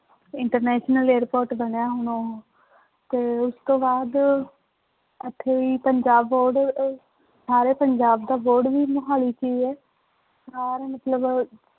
International airport ਬਣਿਆ ਹੁਣ ਉਹ, ਤੇ ਉਸ ਤੋਂ ਬਾਅਦ ਇੱਥੇ ਹੀ ਪੰਜਾਬ ਬੋਰਡ ਸਾਰੇ ਪੰਜਾਬ ਦਾ ਬੋਰਡ ਵੀ ਮੁਹਾਲੀ ਚ ਹੀ ਹੈ ਸਾਰੇ ਮਤਲਬ